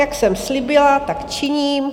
Jak jsem slíbila, tak činím.